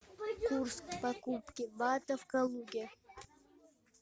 курс покупки бата в калуге